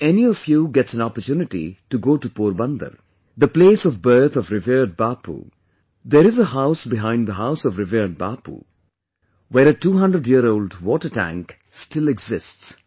If any of you gets an opportunity to go to Porbandar, the place of birth of revered Bapu, then there is a house behind the house of revered Bapu, where a 200year old water tank still exists